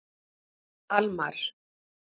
Almar